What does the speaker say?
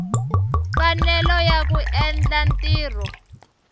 mfanelo ya ku endla ntirho